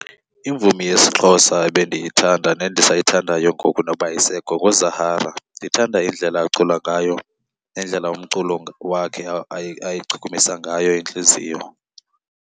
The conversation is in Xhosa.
Imvumi yesiXhosa ebendiyithanda nendisayithandayo ngoku noba ayisekho nguZahara. Ndithanda indlela acula ngayo nendlela umculo wakhe ayichukumisa ngayo intliziyo.